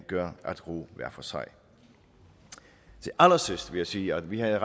gør at ro hver for sig til allersidst vil sige at vi havde